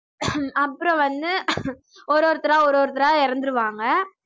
அப்புறம் வந்து ஒரு ஒருத்தரா ஒரு ஒருத்தர இறந்திடுவாங்க